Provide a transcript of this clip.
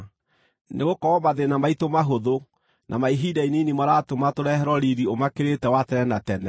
Nĩgũkorwo mathĩĩna maitũ mahũthũ na ma ihinda inini maratũma tũreherwo riiri ũmakĩrĩte wa tene na tene.